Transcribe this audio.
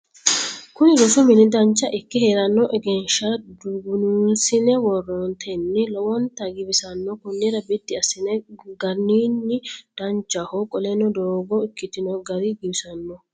Kuni rosu mini Dancha ikke heerrenni egenshisha dugunuunsine worattenni lowonta giwissanno konnira biddi assine ganniro danchaho qoleno doogo ikkitino gari giwisanno